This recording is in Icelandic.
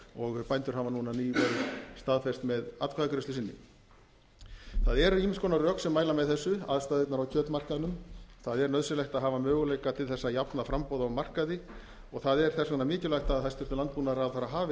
og bændur hafa núna nýverið staðfest með atkvæðagreiðslu sinni það eru ýmiss konar rök sem mæla með þessu aðstæðurnar á kjötmarkaðnum það er nauðsynlegt að hafa möguleika til þess að jafna framboð á markaði og það er þess vegna mikilvægt að hæstvirtur landbúnaðaráðherra hafi